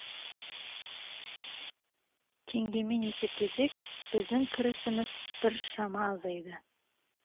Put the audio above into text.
теңгемен есептесек біздің кірісіміз біршама азайды